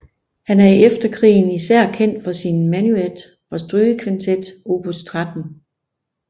Han er i eftertiden især kendt for sin menuet fra strygekvintet opus 13